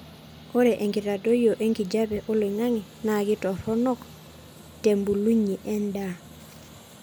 ore enkitadoyio enkijape oloingangi naa ketoronok tebulunye eendaa